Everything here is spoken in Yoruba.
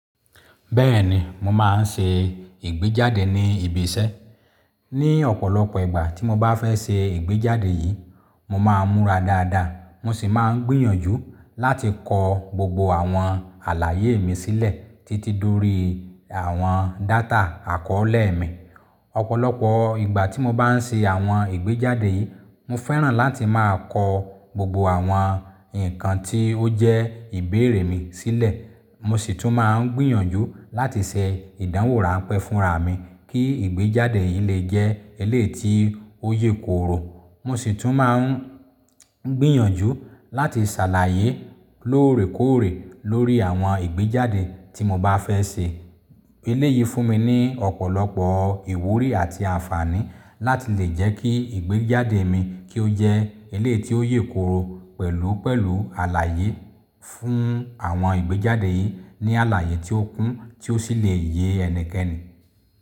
Bẹ́ẹ̀ni, mo máa ń ṣe ìgbéjáde ní ibi iṣẹ́. Ní ọ̀pọ̀lọpọ̀ ìgbà tí mo bá fẹ́ ṣe ìgbéjáde yìí, mo máa múra dáadáa, mo sì máa ń gbìyànjú láti kọ gbogbo àwọn àlàyé mi sílẹ̀ títí dórí àwọn data àkọ́ọ́lẹ̀ mi. Ọ̀pọ̀lọpọ̀ ìgbà tí mo bá ń ṣe àwọn ìgbéjáde yìí, mo fẹ́ràn láti máa kọ gbogbo àwọn nǹkan tí ó jẹ́ ìbéèrè mi sílẹ̀. Mo sì tún máa ń gbìyànjú láti ṣe ìdánwò ráńpẹ́ fúnra mi kí ìgbéjáde yìí lè jẹ́ eleyí tí ó yè kooro. Mo sì tún máa ń gbìyànjú láti ṣàlàyé lóòrèkóòrè lórí àwọn ìgbéjáde tí mo bá fẹ́ ṣe. Eléeyí fún mi ní ọ̀pọ̀lọpọ̀ ìwúrí àti àǹfààní láti lè jẹ́ kí ìgbéjáde mi kí ó jẹ́ eleyí tí ó yè kooro pẹ̀lú pẹ̀lú àlàyé fún àwọn ìgbéjáde yìí ní àlàyé tí ó kún tí ó sì lè yé ẹnikẹ́ni.